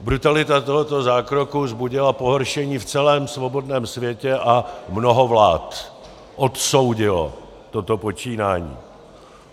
Brutalita tohoto zákroku vzbudila pohoršení v celém svobodném světě a mnoho vlád odsoudilo toto počínání.